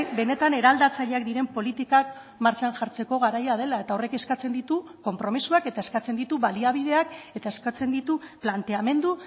benetan eraldatzaileak diren politikak martxan jartzeko garaia dela eta horrek eskatzen ditu konpromisoak eta eskatzen ditu baliabideak eta eskatzen ditu planteamendu